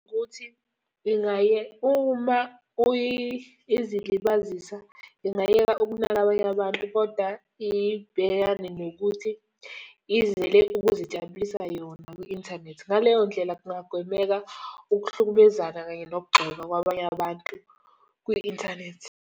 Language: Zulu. Ukuthi uma izilibazisa, ingayeka ukunaka abanye abantu kodwa ibhekane nokuthi izele ukuzijabulisa yona kwi-inthanethi. Ngaleyo ndlela kungagwemeka ukuhlukumezana kanye nokugxekwa kwabanye abantu kwi-Inthanethi.